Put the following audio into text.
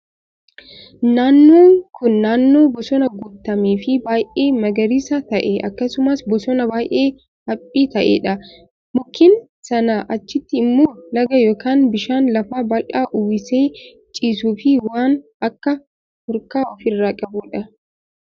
Naannoo kun naannoo bosonaan guutamee fi baay'ee magariisa ta'e akkasumas bosona baay'ee haphii ta'edha. Mukkeen sanaa achitti immoo laga yookaan bishaan lafa bal'aa uwwisee ciisuu fi waan akka hurkaa ofirraa qabudha.